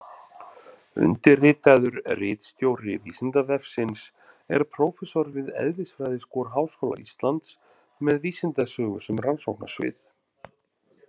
Undirritaður ritstjóri Vísindavefsins er prófessor við eðlisfræðiskor Háskóla Íslands með vísindasögu sem rannsóknasvið.